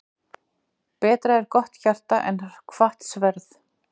Betra er gott hjarta en hvatt sverð.